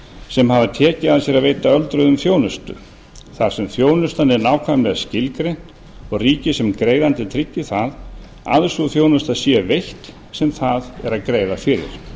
sem hafa tekið að sér að veita öldruðum þjónustu þar sem þjónustan er nákvæmlega skilgreind og ríkið sem greiðandi tryggi það að sú þjónusta sé veitt sem það er að greiða fyrir